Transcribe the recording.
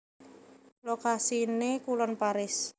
Lokasiné kulon Paris